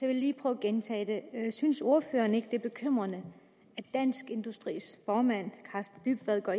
vil lige prøve at gentage det synes ordføreren ikke det er bekymrende at dansk industris formand karsten dybvad går